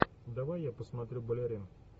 давай я посмотрю балерин